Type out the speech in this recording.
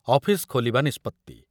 office ଖୋଲିବା ନିଷ୍ପତ୍ତି